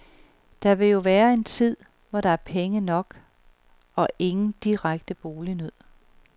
Det vil der jo være i en tid, hvor der er penge nok og ingen direkte bolignød.